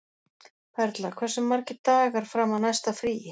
Perla, hversu margir dagar fram að næsta fríi?